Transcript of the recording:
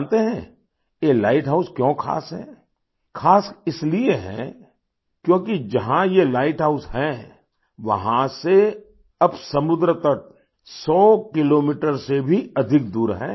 जानते हैं ये लाइट हाउस क्यों खास है खास इसलिए है क्योंकि जहाँ ये लाइट हाउस है वहाँ से अब समुंद्र तट सौ किलोमीटर से भी अधिक दूर है